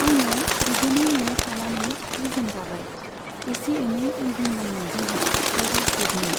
आङो बिदिनो न'आव थानानै जि जोम दाबाय। एसे एनै उइभिं दंमोन जोंहा सेल्फ हेल्प ग्रुपनि।